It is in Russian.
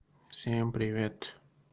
всем привет